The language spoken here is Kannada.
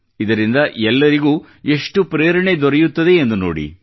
ಇದರಿಂದ ಎಲ್ಲರಿಗೂ ಎಷ್ಟು ಪ್ರೇರಣೆ ದೊರೆಯುತ್ತದೆ ಎಂದು ನೋಡಿ